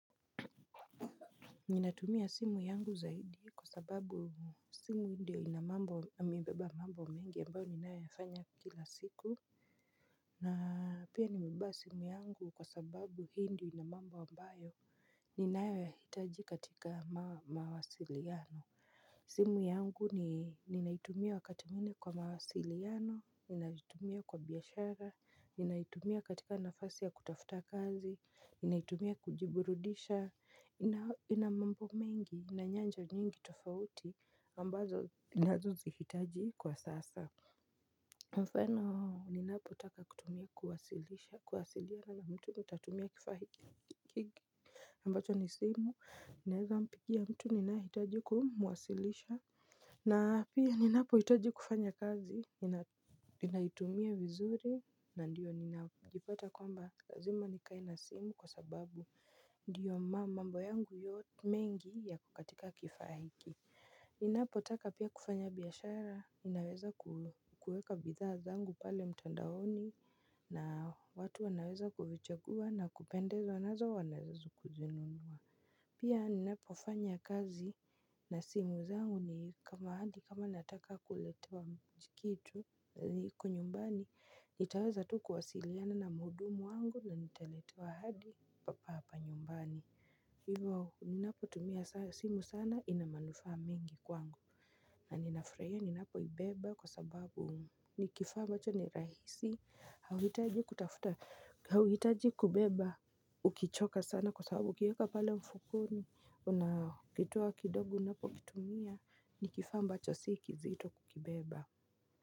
Ninatumia simu yangu zaidi kwa sababu simu ndiyo ina mambo, imebeba mambo ambayo mengi ninayoyafanya kila siku na pia nimebeba simu yangu kwa sababu hii ndiyo ina mambo ambayo ninayo yahitaji katika mawasiliano. Simu yangu ni ninaitumia wakati mwingine kwa mawasiliano, ninaitumia kwa biashara, ninaitumia katika nafasi ya kutafuta kazi, ninaitumia kujiburudisha, ina mambo mengi na nyanja nyingi tofauti ambazo ninazo zihitaji kwa sasa. Mfano ninapotaka kutumia kuwasiliana na mtu nitatumia kifaa hiki ambacho ni simu ninaweza mpigia mtu niyehitaji kumwasilisha. Na pia ninapo hitaji kufanya kazi. Ninaitumia vizuri na ndio ninajipata kwamba lazima nikae na simu kwa sababu ndiyo mambo yangu mengi yako kwenye kifaa hiki. Ninapo taka pia kufanya biashara, ninaweza kukueka bidhaa zangu pale mtandaoni na watu wanaweza kuvichagua na kupendezwa nazo wana weza kuja kuzinunua. Pia ninapo fanya kazi na simu zangu ni kama hadi kama nataka kuletewa mji kitu. Iko nyumbani, nitaweza tu kuwasiliana na muhudumu wangu na nitaletewa hadi papa hapa nyumbani. Hivo ninapo tumia simu sana inamanufa mengi kwangu. Na ninafurahia ninapo ibeba kwa sababu ni kifaa ambacho ni rahisi hauhitaji kutafuta, hauhitaji kubeba ukichoka sana kwa sababu ukiweka pale mfukoni unakitoa kidogo unapokitumia ni kifaa ambacho si kizito ukibeba.